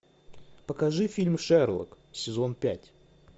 покажи фильм шерлок сезон пять